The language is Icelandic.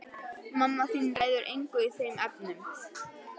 Mamma þín ræður engu í þeim efnum.